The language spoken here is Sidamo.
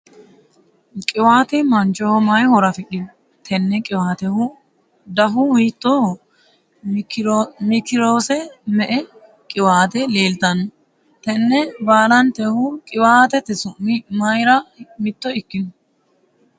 qiwaate mannaho mayi horo afidhino? tenne qiwaatehu dahu hiittooho? mkiirose me''e qiwaate leeltanno? tenne baalantehu qiwaatete su'mi mayiira mitto ikkino?